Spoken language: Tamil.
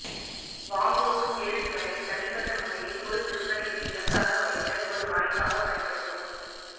வாங்குவோர் கேள்விகளை தனிப்பட்ட முறையில் ஒரு விற்பனைக்கு இலக்காக வைக்க ஒரு வாய்ப்பாக பயன்படுத்தவும்